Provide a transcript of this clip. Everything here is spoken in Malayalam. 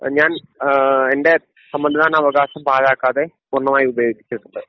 ഞാൻ ഏഹ് എൻ്റെ സമ്മതിദാന അവകാശം പാഴാക്കാതെ പൂർണ്ണമായി ഉപയോഗിച്ചിട്ടുണ്ട്.